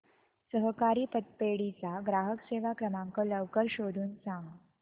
सहकारी पतपेढी चा ग्राहक सेवा क्रमांक लवकर शोधून सांग